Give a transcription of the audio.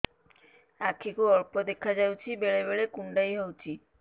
ଆଖି କୁ ଅଳ୍ପ ଦେଖା ଯାଉଛି ବେଳେ ବେଳେ କୁଣ୍ଡାଇ ହଉଛି